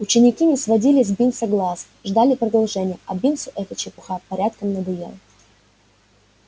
ученики не сводили с бинса глаз ждали продолжения а бинсу эта чепуха порядком надоела